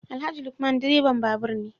Alhaji Lukman direban babur ne